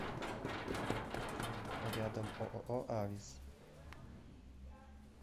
рядом ооо авис